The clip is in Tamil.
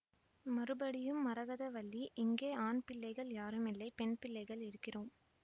மறுபடியும் மரகதவல்லி இங்கே ஆண்பிள்ளைகள் யாரும் இல்லை பெண்பிள்ளைகள் இருக்கிறோம்